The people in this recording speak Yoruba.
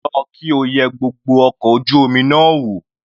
Lọ kí o yẹ gbogbo ọkọ̀ ojú omi náà wò.